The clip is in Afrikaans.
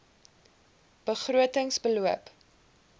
begroting beloop